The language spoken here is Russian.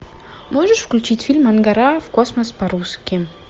можешь включить фильм ангара в космос по русски